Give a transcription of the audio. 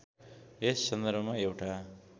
यस सन्दर्भमा एउटा